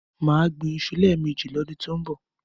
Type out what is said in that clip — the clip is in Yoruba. Má gbín iṣu lẹ́ẹ̀mẹjì lọ́dún tọ́ ń bọ̀.